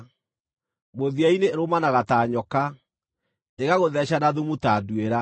Mũthia-inĩ ĩrũmanaga ta nyoka, ĩgagũtheeca na thumu ta nduĩra.